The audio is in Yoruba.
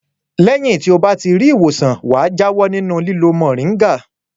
Lẹ́yìn tí ó bá ti rí ìwòsàn wà jáwọ́ nínú lílo mòríngà.